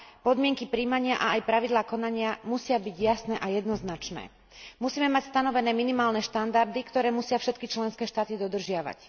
Podmienky prijímania a aj pravidlá konania musia byť jasné a jednoznačné. Musíme mať stanovené minimálne štandardy, ktoré musia všetky členské štáty dodržiavať.